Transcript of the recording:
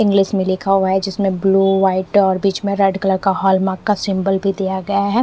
English में लिखा हुआ है जिसमें ब्लू व्हाइट और बीच में रेड कलर का हॉलमार्क का सिंबल भी दिया गया है।